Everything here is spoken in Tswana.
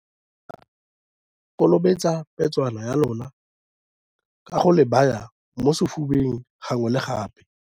Karabo - Kolobetsa petšwana ya lona ka go le baya mo sefubeng gangwe le gape.